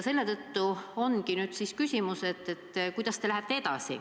Selle tõttu ongi nüüd küsimus, kuidas te lähete edasi.